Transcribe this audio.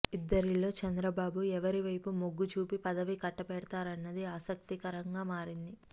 ఇద్దరిలో చంద్రబాబు ఎవరివైపు మొగ్గు చూపి పదవి కట్టబెడుతారన్నది ఆసక్తికరంగా మారింది